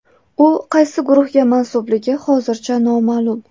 U qaysi guruhga mansubligi hozircha noma’lum.